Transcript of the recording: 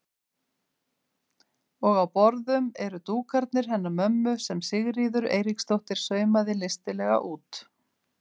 Og á borðum eru dúkarnir hennar mömmu sem Sigríður Eiríksdóttir saumaði listilega út.